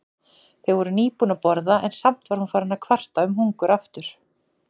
Þau voru nýbúin að borða en samt var hún farin að kvarta um hungur aftur.